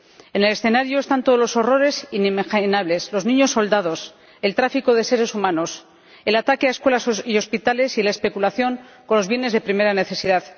En el escenario están todos los horrores inimaginables los niños soldado, el tráfico de seres humanos, el ataque a escuelas y hospitales y la especulación con los bienes de primera necesidad.